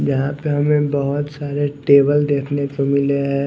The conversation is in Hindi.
यहां पे हमें बहुत सारे टेबल देखने को मिले हैं।